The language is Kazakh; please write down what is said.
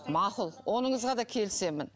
мақұл оныңызға да келісемін